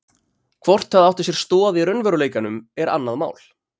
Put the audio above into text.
Hvort það átti sér stoð í raunveruleikanum er annað mál.